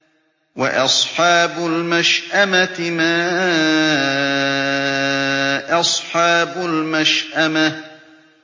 وَأَصْحَابُ الْمَشْأَمَةِ مَا أَصْحَابُ الْمَشْأَمَةِ